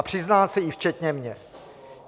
A přiznám se, i včetně mě.